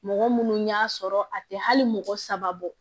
Mɔgɔ minnu y'a sɔrɔ a tɛ hali mɔgɔ saba bɔ